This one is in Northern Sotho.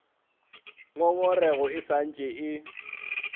ngongorego e sa ntše e